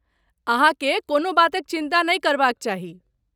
अहाँकेँ कोनो बातक चिन्ता नहि करबाक चाही।